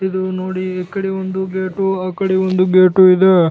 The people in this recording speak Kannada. ಇದು ನೋಡಿ ಈ ಕಡೆ ಒಂದು ಗೇಟು ಆ ಕಡೆ ಒಂದು ಗೇಟು ಇದೆ.